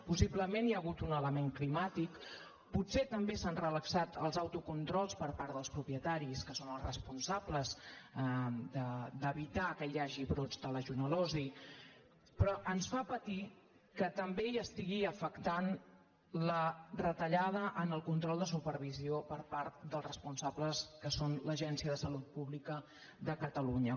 possiblement hi ha hagut un element climàtic potser també s’han relaxat els autocontrols per part dels propietaris que són els responsables d’evitar que hi hagi brots de legionel·losi però ens fa patir que també hi estigui afectant la retallada en el control de supervisió per part dels responsables que són l’agència de salut pública de catalunya